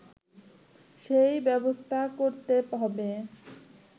সেই ব্যবস্থা করতে হবে